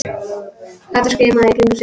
Kata skimaði í kringum sig.